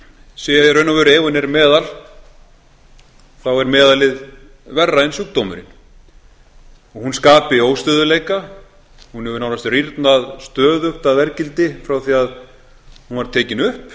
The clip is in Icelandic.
sé í raun og veru ef hún er meðal þá er meðalið verra en sjúkdómurinn og hún skapi óstöðugleika hún hefur nánast rýrnað stöðugt að verðgildi frá því að hún var tekin upp